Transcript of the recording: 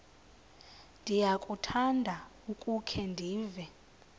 ndiyakuthanda ukukhe ndive